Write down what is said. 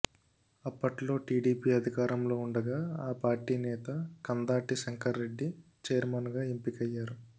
అప్పట్లో టీడీపీ అధికారంలో ఉండగా ఆ పార్టీ నేత కందాటి శంకర్రెడ్డి చైర్మన్గా ఎన్నికయ్యారు